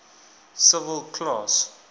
civil class